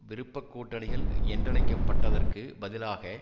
விருப்பக் கூட்டணிகள் என்றழைக்கப்பட்டதற்கு பதிலாக